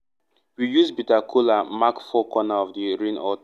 we use bitter kola mark four corner of the rain altar.